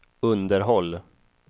underhåll